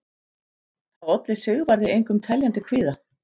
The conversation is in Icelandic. Það olli Sigvarði engum teljandi kvíða.